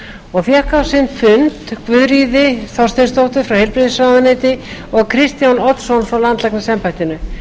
og fékk á sinn fund guðríði þorsteinsdóttur frá heilbrigðisráðuneyti og kristján oddsson frá landlæknisembættinu